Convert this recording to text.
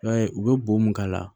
I b'a ye u bɛ bo mun k'a la